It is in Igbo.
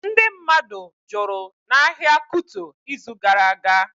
Ndị mmadụ jụrụ n'ahịa Kuto ịzụ gara aga